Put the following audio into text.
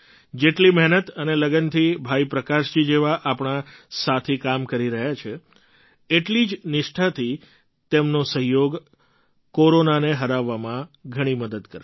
જેટલી મહેનત અને લગનથી ભાઈ પ્રકાશજી જેવા આપણા સાથી કામ કરી રહ્યા છે એટલી જ નિષ્ઠાથી તેમનો સહયોગ કોરોનાને હરાવવામાં ઘણી મદદ કરશે